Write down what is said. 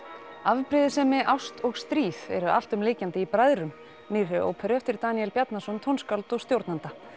afbrýðisemi ást og stríð eru alltumlykjandi í bræðrum nýrri óperu eftir Daníel Bjarnason tónskáld og stjórnanda